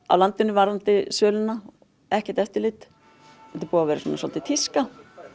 varðandi söluna ekkert eftirlit þetta er búið að vera tíska